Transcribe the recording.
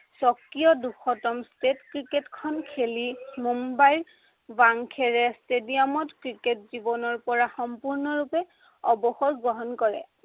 স্বকীয় দুশতম state ক্ৰিকেটখন খেলি মুম্বাই ৱাংখেৰেৰ stadium ত ক্ৰিকেট জীৱনৰ পৰা সম্পূৰ্ণৰূপে অৱসৰ গ্ৰহণ কৰে।